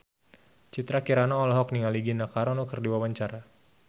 Citra Kirana olohok ningali Gina Carano keur diwawancara